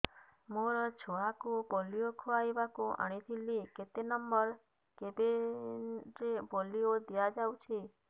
ମୋର ଛୁଆକୁ ପୋଲିଓ ଖୁଆଇବାକୁ ଆଣିଥିଲି କେତେ ନମ୍ବର କେବିନ ରେ ପୋଲିଓ ଦିଆଯାଉଛି